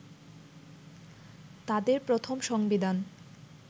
তাদের প্রথম সংবিধান